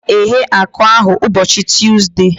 A ga m eghe akụ ahu ụbọchị Tuuzde